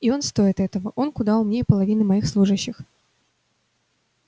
и он стоит этого он куда умнее половины моих служащих